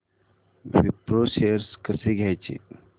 Wipro shares कसे घ्यायचे